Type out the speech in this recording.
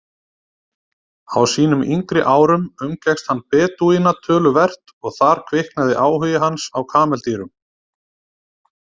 Á sínum yngri árum umgekkst hann Bedúína töluvert og þar kviknaði áhugi hans á kameldýrum.